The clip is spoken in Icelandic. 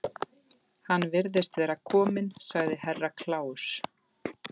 Hann virðist vera kominn, sagði Herra Kláus.